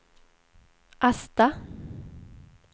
Asta